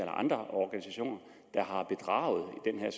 andre organisationer har bedraget